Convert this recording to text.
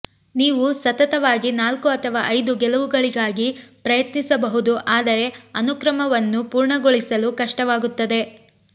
ನೀವು ಸತತವಾಗಿ ನಾಲ್ಕು ಅಥವಾ ಐದು ಗೆಲುವುಗಳಿಗಾಗಿ ಪ್ರಯತ್ನಿಸಬಹುದು ಆದರೆ ಅನುಕ್ರಮವನ್ನು ಪೂರ್ಣಗೊಳಿಸಲು ಕಷ್ಟವಾಗುತ್ತದೆ